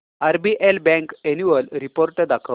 RBL bank annual report दाखव